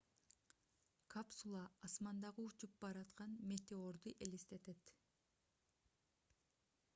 капсула асмандагы учуп бараткан метеорду элестетет